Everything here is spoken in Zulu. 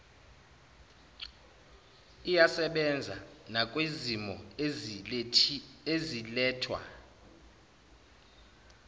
iyasebenza nakwizimo ezilethwa